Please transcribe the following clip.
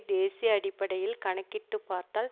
தேசிய அடிப்படையில் கணக்கிட்டுப் பார்த்தால்